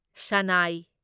ꯁꯥꯅꯥꯢ